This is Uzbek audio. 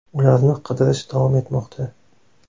Ularni qidirish davom etmoqda.